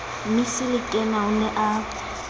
mmisi lekena o ne a